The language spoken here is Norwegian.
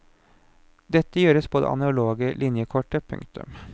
Dette gjøres på det analoge linjekortet. punktum